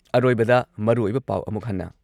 ꯑꯔꯣꯏꯕꯗ ꯃꯔꯨꯑꯣꯏꯕ ꯄꯥꯎ ꯑꯃꯨꯛ ꯍꯟꯅ